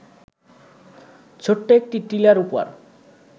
ছোট্ট একটি টিলার উপর